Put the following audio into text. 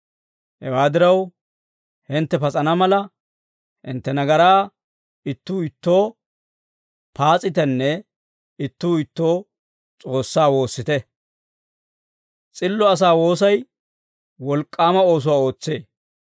Hewaa diraw, hintte pas'ana mala, hintte nagaraa ittuu ittoo paas'itenne ittuu ittoo S'oossaa woossite; s'illo asaa woosay wolk'k'aama oosuwaa ootsee.